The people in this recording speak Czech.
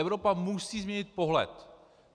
Evropa musí změnit pohled.